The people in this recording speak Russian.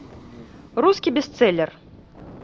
русский бестселлер